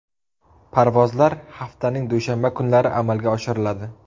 Parvozlar haftaning dushanba kunlari amalga oshiriladi.